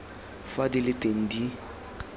fa di le teng di